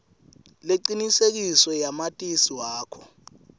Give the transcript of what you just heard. lecinisekisiwe yamatisi wakho